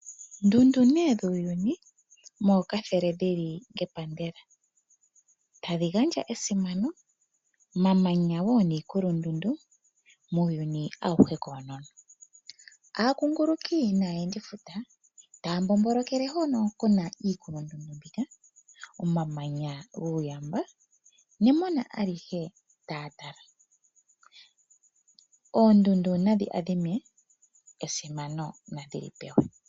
Ndundu nee dhuuyuni, mookathele dhi li ngepandela. Tadhi gandja esimano, mamanya wo niikulundundu muuyuni auhe koonono. Aakoongoloki naayendifuta taa mbombolokele hono ku na iikulundundu mbika, omamanya guuyamba nemona alihe taa tala. Oondundu nadhi adhime, esimano nadhi li pewe.